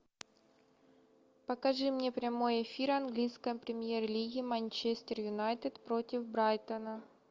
покажи мне прямой эфир английской премьер лиги манчестер юнайтед против брайтона